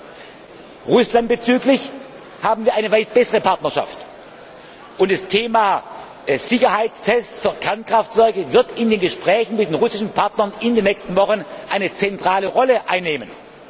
nicht tun. Mit Russland haben wir eine weit bessere Partnerschaft. Und das Thema der Sicherheitstests für Kernkraftwerke wird in den Gesprächen mit den russischen Partnern in den nächsten Wochen eine zentrale Rolle